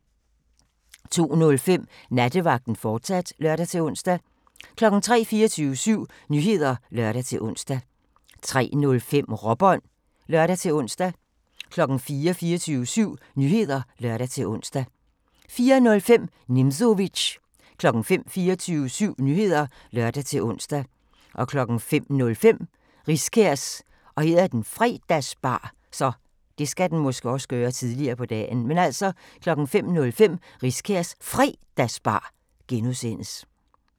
02:05: Nattevagten, fortsat (lør-ons) 03:00: 24syv Nyheder (lør-ons) 03:05: Råbånd (lør-ons) 04:00: 24syv Nyheder (lør-ons) 04:05: Nimzowitsch 05:00: 24syv Nyheder (lør-ons) 05:05: Riskærs Fredagsbar (G)